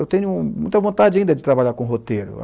Eu tenho muita vontade ainda de trabalhar com roteiro.